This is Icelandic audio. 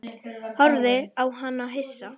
Horfði á hana hissa.